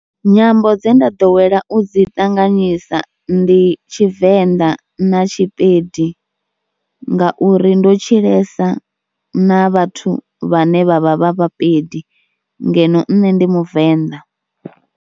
Nyambo dze nda ḓowela u dzi ṱanganyisa ndi Tshivenḓa na Tshipedi ngauri ndo tshilesa na vhathu vhane vha vha vha vhapedi ngeno nṋe ndi muvenḓa.